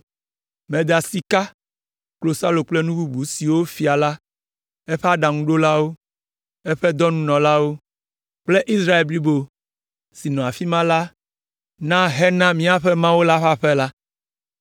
Meda sika, klosalo kple nu bubu siwo fia la, eƒe aɖaŋuɖolawo, eƒe dɔnunɔlawo kple Israel blibo si nɔ afi ma la na hena míaƒe Mawu ƒe aƒe la.